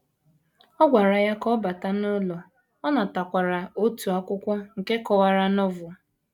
Ọ gwara ya ka ọ bata n’ụlọ, ọ natakwara otu akwụkwọ nke kọwara Novel.